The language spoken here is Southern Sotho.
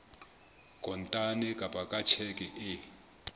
kontane kapa ka tjheke e